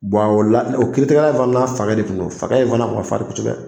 o la o kiiritigɛla in fana n'a fakɛ de tun don fakɛ in fana tun ka farin kosɛbɛ